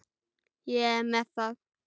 Ég er með það.